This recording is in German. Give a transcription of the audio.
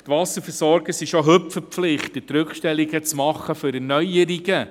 Die Wasserversorger sind bereits heute verpflichtet, Rückstellungen für Erneuerungen zu machen.